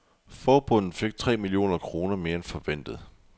Forbundet fik tre millioner kroner mere end forventet.